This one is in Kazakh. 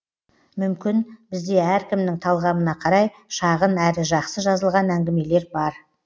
мүмкін бізде әркімнің талғамына қарай шағын әрі жақсы жазылған әңгімелер бар